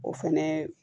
O fɛnɛ